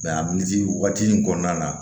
a militi waati in kɔnɔna na